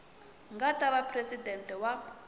nga ta va presidente wa